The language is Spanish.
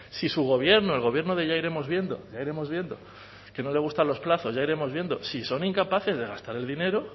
si su gobierno el gobierno de ya iremos viendo ya iremos viendo que no le gustan los plazos ya iremos viendo si son incapaces de gastar el dinero oiga